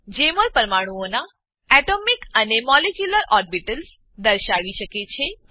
જેમોલ પરમાણુઓનાં atomic atomic અને molecular orbitals પરમાણુ કક્ષાઓ દર્શાવી શકે છે